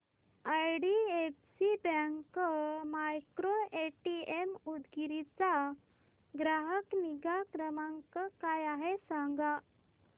IDFC bank micro ATM Udgir चा ग्राहक निगा क्रमांक काय आहे सांगा